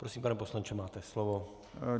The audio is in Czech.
Prosím, pane poslanče, máte slovo.